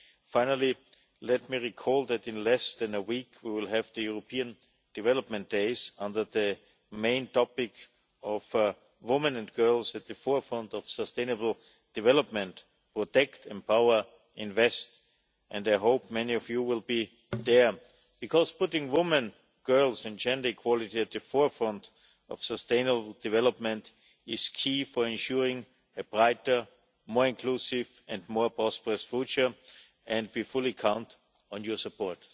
Finally, let me recall that in less than a week we will have the European Development Days under the main topic of Women and Girls at the Forefront of Sustainable Development protect, empower, invest', and I hope many of you will be there, because putting women, girls and gender equality at the forefront of sustainable development is key for ensuring a brighter, more inclusive and more prosperous future, and we fully count on your support.